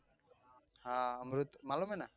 હા અમરુદ માલુમ હે ના